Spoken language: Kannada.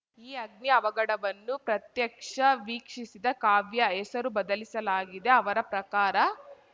ಈ ಅಗ್ನಿ ಅವಘಡವನ್ನು ಪ್ರತ್ಯಕ್ಷ ವೀಕ್ಷಿಸಿದ ಕಾವ್ಯಾ ಹೆಸರು ಬದಲಿಸಲಾಗಿದೆ ಅವರ ಪ್ರಕಾರ